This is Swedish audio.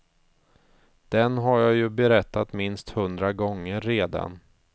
Den har jag ju berättat minst hundra gånger redan.